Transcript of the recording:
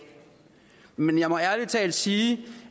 men jeg må ærligt sige